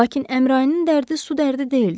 Lakin Əmraninin dərdi su dərdi deyildi.